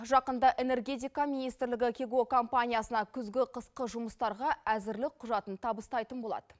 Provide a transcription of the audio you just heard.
жақында энергетика министрлігі кигок компаниясына күзгі қысқы жұмыстарға әзірлі құжатын табыстайтын болады